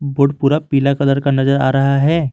Board पूरा पीला colour का नजर आ रहा है।